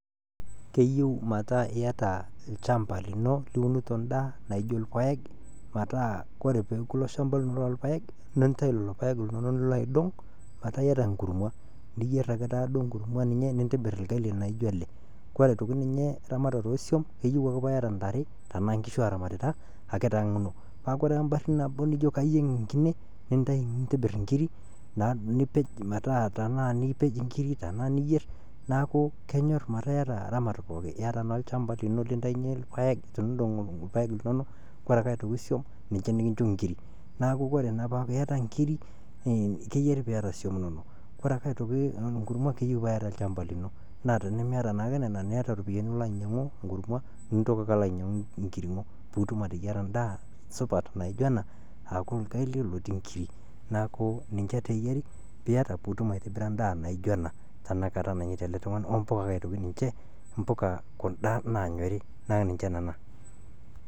Keyeu metaa ieta lchamba lino liunuto indaa naijo ilpayek pataa ore peeku ilo shamba lino loo ilpayek nintai lelo paek linono nilo aidong' metaa ieta enkurrumwa niyerr ake taata duo nkurrumwa ninye nintibirr lgali naaijo ale, kore aitoki ninye eramatare eesiom neyeu ake paa ieta intarre tanaa nkishu aramatita naake te nkang ino, paa kore ake imbarri nabo nijo kayeng' inkine nintibirr inkirri naa nipej metaa taanaa niyerr naaku kenyor pataa ieta ramat pookin, ieta naa olchamba lino lintainye ilpaek teniindong' naa ilpayek linono, kore ake aitoki isiom ninche nikincho inkirri naaku kore naa paaku ieta inkirri keyeri peeta isiom inono, kore aitoki inkurrumwa keyeu paa ieta olchamba lino naa tenimieta naake nenia naa nieta iropiyiani nilo ainyang'u inkurrumwa nintoki ake alo ainyang'u inkiring'o piitum ateyara indaa supat naaijo ena aaku lgali otii inkirri naaku ninche taa eyari pieta piitum aitibira indaa naaijo ana tanakata nanyata ale tungani oo mbuka ake aitoki ninche kunda nanyori naa ninche nena.